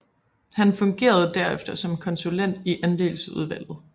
Han fungerede derefter som konsulent i Andelsudvalget